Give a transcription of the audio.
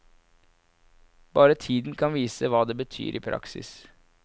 Bare tiden kan vise hva det betyr i praksis.